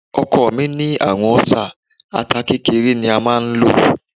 Ọkọ̀ mi ní àrùn ọ́sà, ata kékeré ni a máa ń lò.